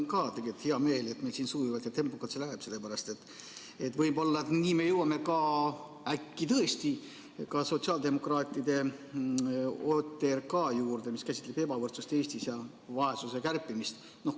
Ka mul on tegelikult hea meel, et meil siin sujuvalt ja tempokalt läheb, sellepärast et võib-olla nii jõuame ka sotsiaaldemokraatide OTRK juurde, mis käsitleb ebavõrdsust Eestis ja vaesuse kärpimist.